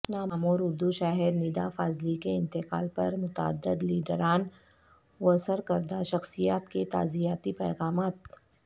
نامور اردو شاعر ندا فاضلی کے انتقال پر متعدد لیڈران وسرکردہ شخصیات کے تعزیتی پیغامات